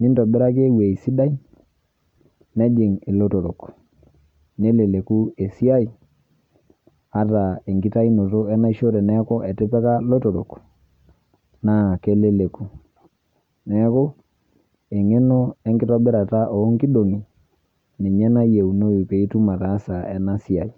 nintobiraki ewuei sidai nejing' ilotorrok neleleku esiai ataa enkitainoto enaisho teneaku etipika lotorok naa keleleku. Neaku, eng'eno enkitobirata oonkidong'i ninye nayieunou piitum ataasa ena siai.